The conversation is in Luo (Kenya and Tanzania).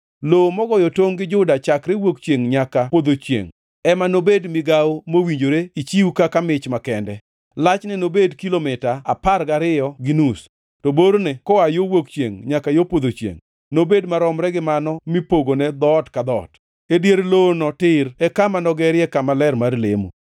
“Lowo mogoyo tongʼ gi Juda chakre wuok chiengʼ nyaka podho chiengʼ ema nobed migawo mowinjore ichiw kaka mich makende. Lachne nobed kilomita apar gariyo gi nus, to borne koa yo wuok chiengʼ nyaka yo podho chiengʼ, nobed maromre gi mano mipogone dhoot ka dhoot. E dier lowono tir e kama nogerie kama ler mar lemo.